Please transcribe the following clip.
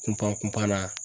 Kun pan kun pan na